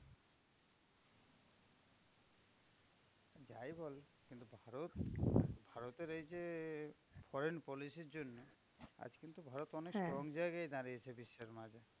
যাই বল কিন্তু ভারত ভারতের এই যে foreign policy র জন্য, আজ কিন্তু ভারত অনেক strong জায়গায় গিয়ে দাঁড়িয়েছে বিশ্বের মাঝে।